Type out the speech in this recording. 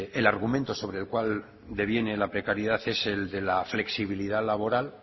el argumento sobre el cual deviene la precariedad es el de la flexibilidad laboral